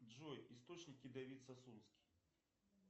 джой источники давид сасунский